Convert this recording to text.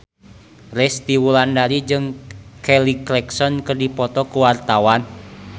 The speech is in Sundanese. Resty Wulandari jeung Kelly Clarkson keur dipoto ku wartawan